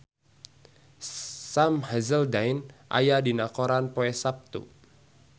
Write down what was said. Sam Hazeldine aya dina koran poe Saptu